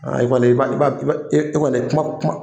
E kɔni i b'a kuma kuma